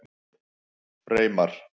Freymar